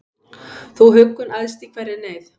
Þú huggun æðst í hverri neyð,